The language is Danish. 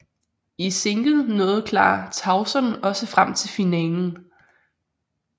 I single nåede Clara Tauson også frem til finalen